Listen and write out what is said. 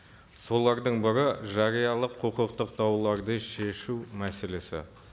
солардың бірі жариялық құқықтық дауларды шешу мәселесі